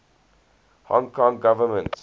hong kong government